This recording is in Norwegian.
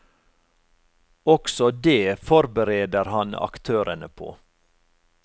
Også det forbereder han aktørene på.